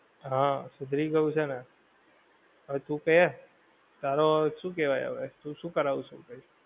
હા સુધરી ગયું છે ને. હવે તું કે. તારો હવે શું કેવાય હવે શું શું કારવશું કઈ?